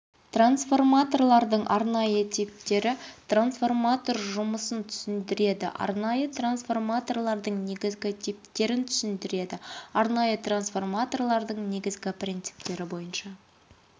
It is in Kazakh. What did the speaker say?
трансформаторлардың арнайы типтері трансформатор жұмысын түсіндіреді арнайы трансфрматорлардың негізгі типтерін түсіндіреді арнайы трансформаторлардың негізгі принциптері бойынша